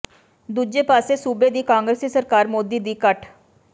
ਦੂਜੇ ਪਾਸੇ ਸੂਬੇ ਦੀ ਕਾਂਗਰਸੀ ਸਰਕਾਰ ਮੋਦੀ ਦੀ ਕਠ